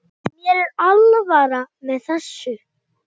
Mér er alvara með þessu.